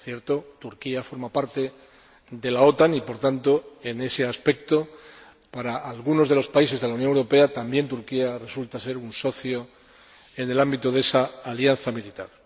Por cierto, Turquía forma parte de la OTAN y, por tanto, en ese aspecto, para algunos de los países de la Unión Europea, también Turquía resulta ser un socio en el ámbito de esa alianza militar.